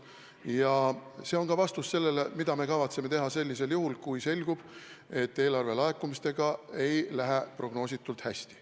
Ja see on ka vastus sellele, mida me kavatseme teha juhul, kui selgub, et eelarvelaekumistega ei lähe prognoositult hästi.